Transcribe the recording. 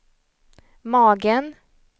magen